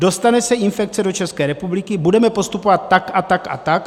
Dostane se infekce do České republiky: budeme postupovat tak a tak a tak.